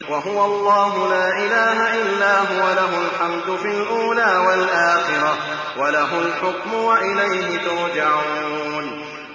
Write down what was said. وَهُوَ اللَّهُ لَا إِلَٰهَ إِلَّا هُوَ ۖ لَهُ الْحَمْدُ فِي الْأُولَىٰ وَالْآخِرَةِ ۖ وَلَهُ الْحُكْمُ وَإِلَيْهِ تُرْجَعُونَ